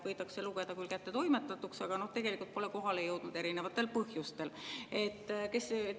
Võidakse lugeda küll kättetoimetatuks, aga tegelikult pole kohale jõudnud erinevatel põhjustel.